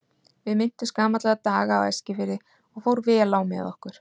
Við minntumst gamalla daga á Eskifirði og fór vel á með okkur.